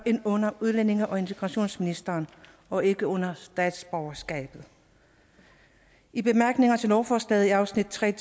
under udlændinge og integrationsministeren og ikke under statsborgerskabet i bemærkninger til lovforslaget i afsnittet